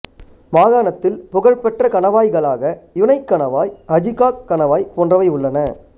மாகாணத்தில் புகழ்பெற்ற கணவாய்களாக யுனை கணவாய் ஹஜிகாக் கணவாய் போன்றவை உள்ளன